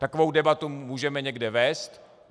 Takovou debatu můžeme někde vést.